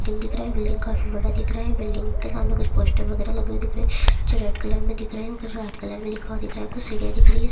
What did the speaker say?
building दिख रहा है बिल्डिंग काफी बड़ा दिख रहा है बिल्डिंग के सामने कुछ पोस्टर वगेरह लगे हुए दिख रहे है जो रेड कलर मे दिख रहे है ऊपर जो व्हाइट कलर मे लिखा हुआ दिख रहा है कुछ सीढ़िया दिख रही है सामने--